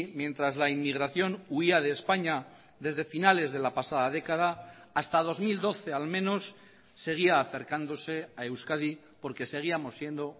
mientras la inmigración huía de españa desde finales de la pasada década hasta dos mil doce al menos seguía acercándose a euskadi porque seguíamos siendo